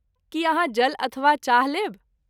की अहाँ जल अथवा चाह लेब?